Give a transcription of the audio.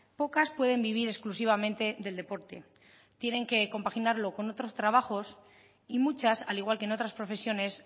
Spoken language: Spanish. pocas pueden vivir exclusivamente del deporte tienen que compaginarlo con otros trabajos y muchas al igual que en otras profesiones